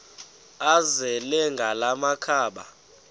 azele ngala makhaba